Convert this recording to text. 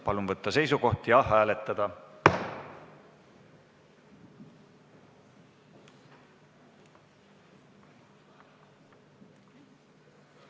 Palun võtta seisukoht ja hääletada!